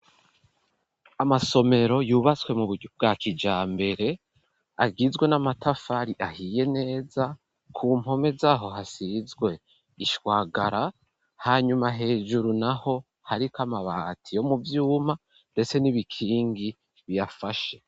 Amasomero yubaswe mu bwa kijambere agizwe n'amatafari ahiye neza ku mpome zaho hasizwe ishwagara hanyuma hejuru naho ariko amabati yo mu vyuma ndetse n'ibikingi biyafashe.